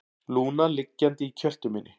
Lúna liggjandi í kjöltu minni.